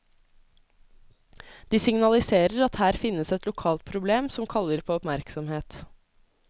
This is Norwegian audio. De signaliserer at her finnes et lokalt problem som kaller på oppmerksomhet.